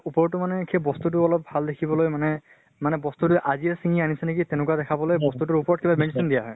তাৰ উপৰতো মানে সেই বস্তু টো ভাল দেখিবলৈ মানে মানে বস্তু টো আজিয়ে চিঙি আনিছে নেকি তেনেকুৱা দেখাবলৈ বস্তু টোৰ উপৰত কিবা medicine দিয়া হয়।